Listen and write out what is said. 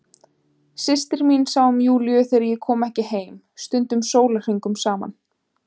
Systir mín sá um Júlíu þegar ég kom ekki heim, stundum sólarhringum saman.